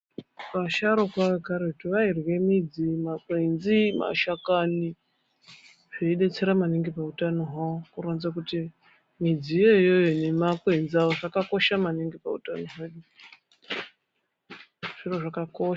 Vasharukwa vekaretu vairye midzi, makwenzi, mashakani, zveidetsera maningi pahutano hwavo, kuronza kuti midzi iyoyo nemakwenzi avo zvakakosha maningi pahutano hwedu. Zviro zvakakosha.